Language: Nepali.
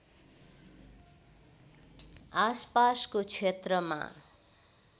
आसपासको क्षेत्रमा